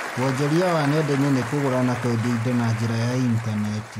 Wonjoria wa nenda-inĩ nĩ kũgũra na kwendia indo na njĩra ya intaneti